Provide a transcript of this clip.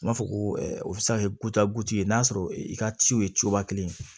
U b'a fɔ ko o bɛ se ka kɛ n'a sɔrɔ i ka ciw ye cogo kelen